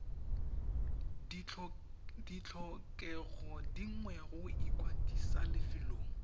ditlhokego dingwe go ikwadisa lefelong